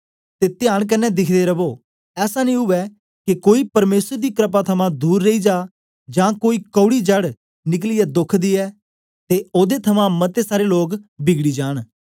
ते त्यान कन्ने दिखदे रवो ऐसा नेई उवै के कोई परमेसर दी क्रपा थमां दूर रेई जा जां कोई कौड़ी जड़ निकलियै दोख दियै ते ओदे थमां मते सारे लोग बिगड़ी जान